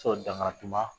Sɔrɔ dangari ma